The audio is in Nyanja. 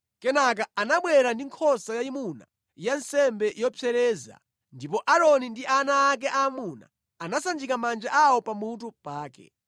Kenaka anabwera ndi nkhosa yayimuna ya nsembe yopsereza, ndipo Aaroni ndi ana ake aamuna anasanjika manja awo pamutu pake.